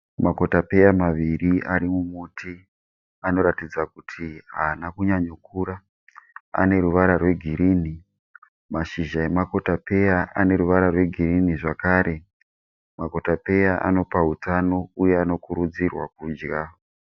Makotopeya maviri ari mumuti anoratidza kuti haana kunyanyo kukura. Ane ruvara rwegirinhi. Mashizha emakotapeya ane ruvara rwegirinhi zvakare. Makotapeya anopa hutano uye anokurudzirwa kudya.